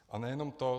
A nejenom to.